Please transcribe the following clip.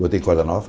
Botei corda nova